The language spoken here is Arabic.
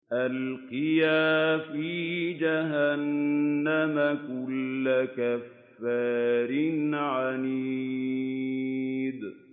أَلْقِيَا فِي جَهَنَّمَ كُلَّ كَفَّارٍ عَنِيدٍ